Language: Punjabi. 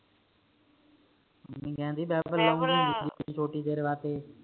ਮੰਮੀ ਕਹਿਣਦੇ ਹੀ ਲਊਗੀ ਛੋਟੀ ਤੇਰੇ ਵਾਸਤੇ